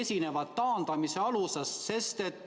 Esinevad ju taandamise alused.